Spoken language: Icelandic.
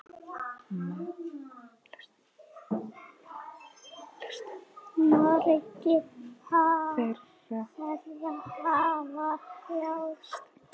Margir þeirra hafa þjáðst.